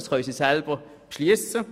Dies könnten sie selber beschliessen.